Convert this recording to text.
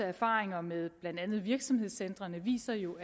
erfaringerne med blandt andet virksomhedscentrene viser jo